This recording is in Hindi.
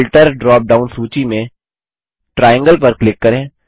फिल्टर ड्रॉप डाउन सूची में ट्रायंगल पर क्लिक करें